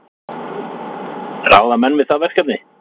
Ráða menn við það verkefni?